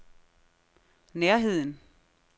nærheden